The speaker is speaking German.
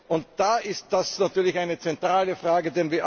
Und da ist das natürlich eine zentrale Frage.